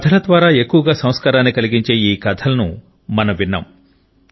కథ ల ద్వారా ఎక్కువగా సంస్కారాన్ని కలిగించే ఈ కథలను మనం విన్నాం